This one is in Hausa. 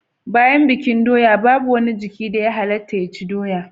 Bayan bikin doya babu wani jiki da ya halatta ya ci doya